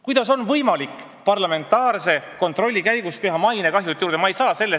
Kuidas on võimalik parlamentaarse kontrolli käigus mainet veel kahjustada, sellest ei saa ma aru.